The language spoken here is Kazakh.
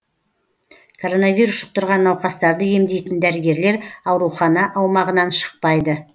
коронавирус жұқтырған науқастарды емдейтін дәрігерлер аурухана аумағынан шықпайды